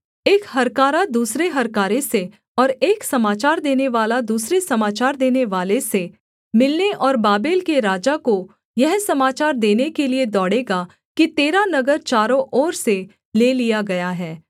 एक हरकारा दूसरे हरकारे से और एक समाचार देनेवाला दूसरे समाचार देनेवाले से मिलने और बाबेल के राजा को यह समाचार देने के लिये दौड़ेगा कि तेरा नगर चारों ओर से ले लिया गया है